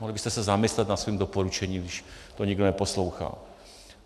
Mohli byste se zamyslet nad svým doporučením, když to nikdo neposlouchá.